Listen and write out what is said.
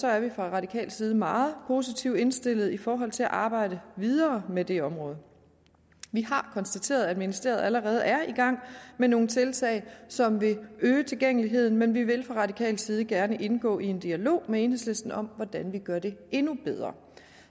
er vi fra radikal side meget positivt indstillede i forhold til at arbejde videre med det område vi har konstateret at ministeriet allerede er i gang med nogle tiltag som vil øge tilgængeligheden men vi vil fra radikal side gerne indgå i en dialog med enhedslisten om hvordan vi gør det endnu bedre